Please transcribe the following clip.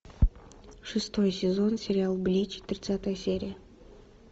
шестой сезон сериал блич тридцатая серия